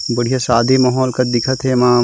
बढ़िया शादी माहौल कस दिखत हे एमा --